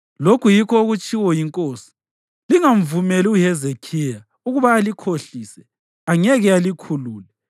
Lokhu yikho okutshiwo yinkosi: Lingamvumeli uHezekhiya ukuba alikhohlise. Angeke alikhulule.